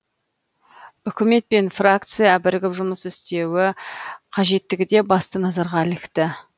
үкімет пен фракция бірігіп жұмыс істеуі қажеттігі де басты назарға ілікті